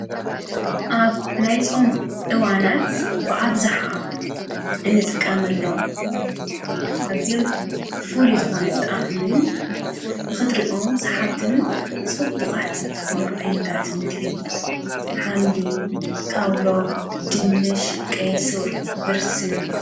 ኣብ ናይጾም ዕዋናት ብኣብዝኃ እንጥቃመኣሎም ኣብዘም ፍልዩ ዝኾነ ጣዕምን ንኽድሪኦም ሰሓብትን ጽቡቓትን ዘኾኑ ኣይነታትን ግቢ ኃምሊ ካውሎ ድንሽ ቀይሱር ብርስን እዩ::